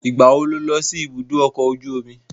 Ìgbà wo lo lọ sí ibùdó ọkọ ojú omi?